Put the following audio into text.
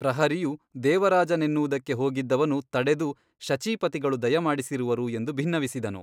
ಪ್ರಹರಿಯು ದೇವರಾಜನೆನ್ನುವುದಕ್ಕೆ ಹೋಗಿದ್ದವನು ತಡೆದು ಶಚೀಪತಿಗಳು ದಯಮಾಡಿಸಿರುವರು ಎಂದು ಬಿನ್ನವಿಸಿದನು.